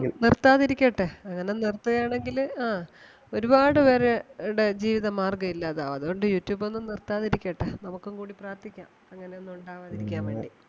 നിർത്താതിരിക്കട്ടെ അങ്ങനെ നിർത്തുകയാണെങ്കില് ആഹ് ഒരുപാട് പേര~ടെ ജീവിതമാർഗം ഇല്ലാതാവും. അതുകൊണ്ട് youtube ഒന്നും നിർത്താതിരിക്കട്ടെ നമുക്കും കൂടി പ്രാർത്ഥിക്കാം അങ്ങനെ ഒന്നും ഒണ്ടാവാതിരിക്കാൻ വേണ്ടി.